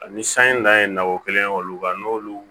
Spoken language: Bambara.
Ani san in dalen ye nakɔ kelen olu kan n'olu